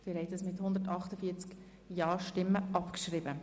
Sie haben Ziffer 1 einstimmig abgeschrieben.